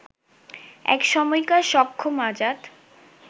একসময়কার সক্ষম আজাদ